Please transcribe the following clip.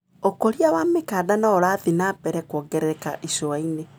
ũkũria wa mĩkanda noũrathi na mbere kuongerereka icuainĩ.